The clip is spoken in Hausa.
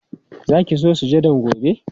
Za ki zo sujadan gobe?